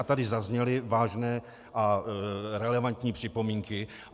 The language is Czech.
A tady zazněly vážné a relevantní připomínky.